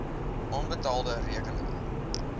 onbetaalde rekeninge